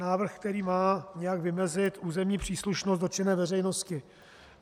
Návrh, který má nějak vymezit územní příslušnost dotčené veřejnosti.